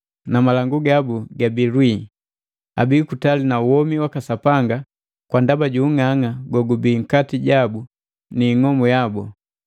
na malangu gabu gabii kulwii. Abii kutali na womi waka Sapanga kwa ndaba ju ung'ang'a gogubi nkati jabu ni ing'omu yabu.